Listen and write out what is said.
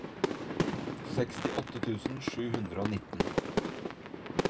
sekstiåtte tusen sju hundre og nitten